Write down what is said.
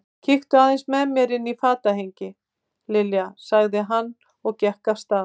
Kíktu aðeins með mér inn í fatahengi, Lilja sagði hann og gekk af stað.